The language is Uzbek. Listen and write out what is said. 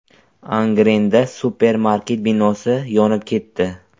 Angrenda supermarket binosi yonib ketdi.